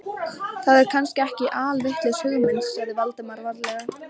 Það er kannski ekki alvitlaus hugmynd- sagði Valdimar varlega.